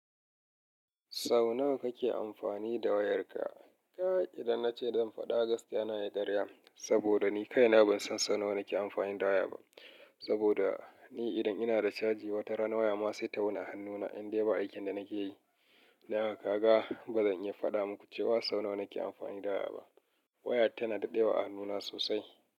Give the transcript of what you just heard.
Sau nawa kake amfani da wayarka? Kaga idan nace zan faɗa, gaskiya na yi karya. Saboda ni kaina ban san sau nawa nake amfani da waya ba. Saboda ni idan ina da caji, wata rana waya ma sai ta wuni a hannuna, indai ba aikin da nake yi. Nawa kaga? Ba zan iya faɗa muku cewa sau nawa nake amfani da waya ba. Waya tana daɗewa a hannuna sosai.